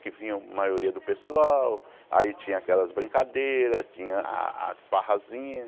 Que vinha a maioria do pessoal, aí tinha aquelas brincadeiras, tinha as farrasinhas.